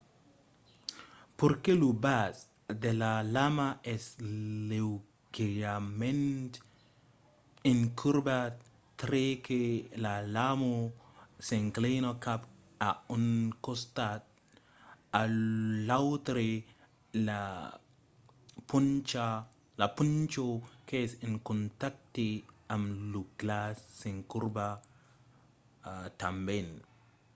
perque lo bas de la lama es leugièrament incurvat tre que la lama s'inclina cap a un costat o l’autre la poncha qu'es en contacte amb lo glaç s’incurva tanben